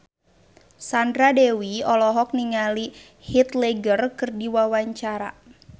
Sandra Dewi olohok ningali Heath Ledger keur diwawancara